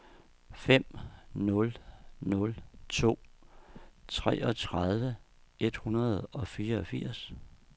fem nul nul to treogtredive et hundrede og fireogfirs